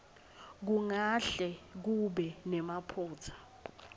kungahle kube nemaphutsa